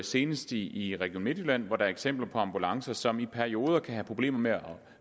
senest i i region midtjylland hvor der er eksempler på ambulancer som i perioder kan have problemer med at